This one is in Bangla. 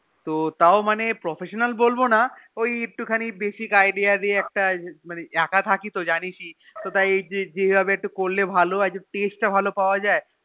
তও মানে Professional বলবোনা ওই একটু খানি Basic idea দিয়ে মানে একা থাকি তো জানিসই তাই এই ভাবে করলে ভালো হয়ে Taste তা ভালো পাওয়া যায়